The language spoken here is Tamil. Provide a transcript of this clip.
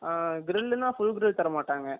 ஆ grill னா full grill தர மாட்டாங்க